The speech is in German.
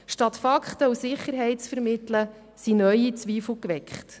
Statt Fakten und Sicherheit zu vermitteln, wurden neue Zweifel geweckt.